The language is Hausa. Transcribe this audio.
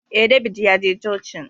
Eh, David ya je cocin